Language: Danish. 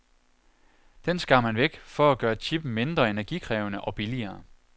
Den skar man væk for at gøre chippen mindre energikrævende og billigere.